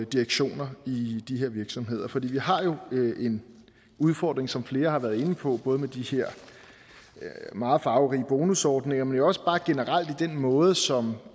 direktioner i de her virksomheder for vi har jo en udfordring som flere har været inde på både med de her meget farverige bonusordninger men også bare generelt i den måde som